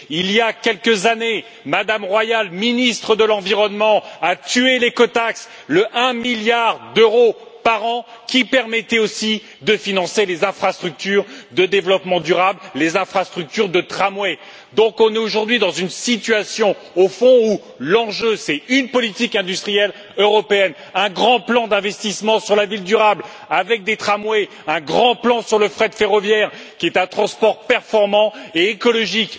Il y a quelques années, Mme Royal, ministre de l'environnement, a tué l'écotaxe, le 1 milliard d'euros par an qui permettait aussi de financer les infrastructures de développement durable, les infrastructures de tramway. Au fond, nous sommes aujourd'hui dans une situation où l'enjeu, c'est une politique industrielle européenne, un grand plan d'investissement sur la ville durable avec des tramways, un grand plan sur le fret ferroviaire qui est un transport performant et écologique,